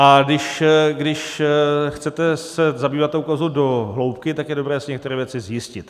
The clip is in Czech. A když se chcete zabývat tou kauzou do hloubky, tak je dobré si některé věci zjistit.